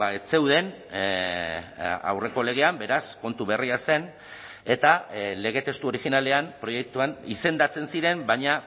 ez zeuden aurreko legean beraz kontu berria zen eta lege testu originalean proiektuan izendatzen ziren baina